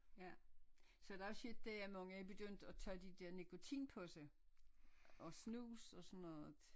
Ja så er der også sket det at mange er begyndt at tage de der nikotinposer og snus og sådan noget